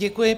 Děkuji.